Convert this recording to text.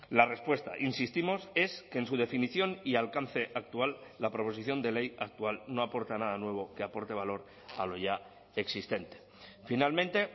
la respuesta insistimos es que en su definición y alcance actual la proposición de ley actual no aporta nada nuevo que aporte valor a lo ya existente finalmente